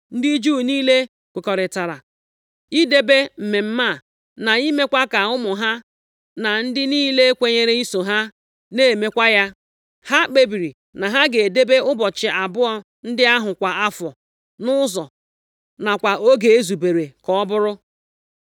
Ndị Juu niile kwekọrịtara idebe mmemme a, na imekwa ka ụmụ ha, na ndị niile kwenyere iso ha, na-emekwa ya. Ha kpebiri na ha ga-edebe ụbọchị abụọ ndị ahụ kwa afọ, nʼụzọ nakwa oge e zubere ka ọ bụrụ.